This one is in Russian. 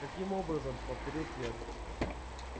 каким образом повторил твер